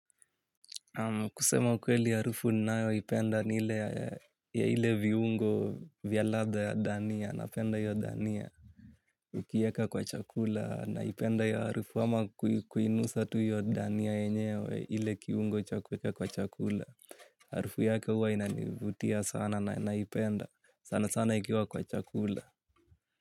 Kusema kweli harufu ninayoipenda ni ile ya ile viungo vya ladha ya dania napenda hiyo dania. Ukieka kwa chakula naipenda hiyo harufu ama kuinusa tu hiyo dania yenyewe ile kiungo cha kuweka kwa chakula. Harufu yake huwa inanivutia sana naipenda sana sana ikiwa kwa chakula.